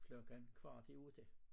Klokken kvart i 8